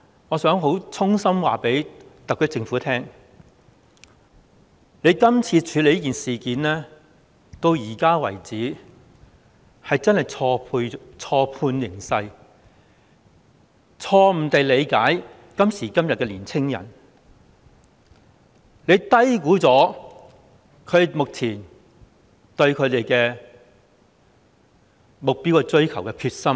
我想衷心告訴特區政府，政府處理今次的事件，直到現在為止，真的是錯判形勢，錯誤地理解今時今日的年青人，低估了他們追求目標的決心。